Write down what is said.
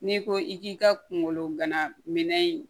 N'i ko i k'i ka kungolo gana minɛ